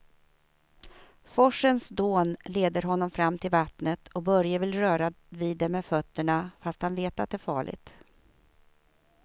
Forsens dån leder honom fram till vattnet och Börje vill röra vid det med fötterna, fast han vet att det är farligt.